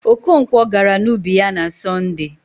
Okonkwọ gara n'ubi ya na Sọnde